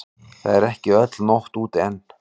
Það er ekki öll nótt úti enn.